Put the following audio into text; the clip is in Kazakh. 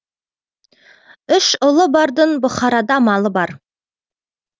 үш ұлы бардың бұхарада малы бар